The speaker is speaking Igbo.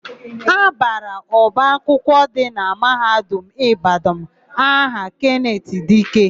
A bara ọba akwụkwọ dị na Mahadum Ịbadanụ aha Kenetị Dike.